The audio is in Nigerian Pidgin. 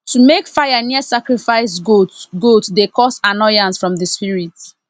to make fire near sacrifice goat goat dey cause annoyance from the spirit